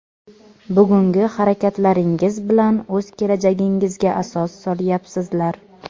Bugungi harakatlaringiz bilan o‘z kelajagingizga asos solyapsizlar.